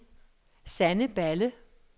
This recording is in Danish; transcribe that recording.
Sanne Balle